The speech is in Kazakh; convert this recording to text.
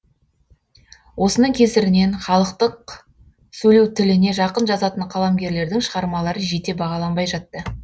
осының кесірінен халықтық сөйлеу тіліне жақын жазатын қаламгерлердің шығармалары жете бағаланбай жатты